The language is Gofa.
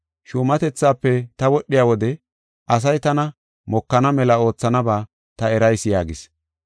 Shuumatethaafe ta wodhiya wode asay tana mokana mela oothanaba ta erayis’ yaagis.